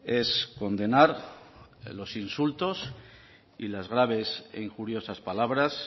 es condenar los insultos y las graves e injuriosas palabras